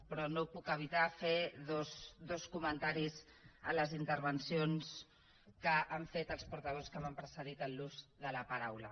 però no puc evitar fer dos comentaris a les intervencions que han fet els portaveus que m’han precedit en l’ús de la paraula